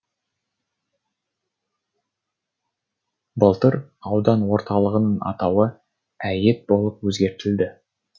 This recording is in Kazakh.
былтыр аудан орталығының атауы әйет болып өзгертілді